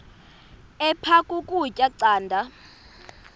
aphek ukutya canda